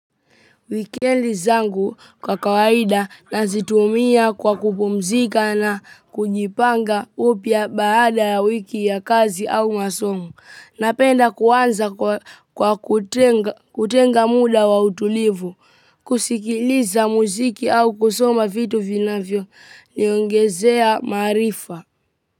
Weekend zangu kwa kawaida nazitumia kwa kupumzika na kujipanga upya baada ya wiki ya kazi au masomo. Napenda kuanza kwa kutenga muda wa utulivu, kusikiliza muziki au kusoma vitu vinavyo niongezea maarifa.